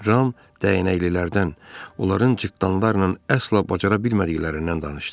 Ram dəyənəklilərdən onların cırtanlarla əsla bacara bilmədiklərindən danışdı.